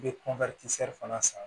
I bɛ fana san